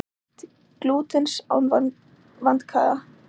Flestir geta neytt glútens án vandkvæða.